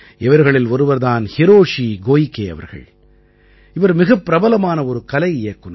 இவர்களில் ஒருவர் தான் ஹிரோஷி கோயிகே அவர்கள் இவர் மிகப் பிரபலமான ஒரு கலை இயக்குநர்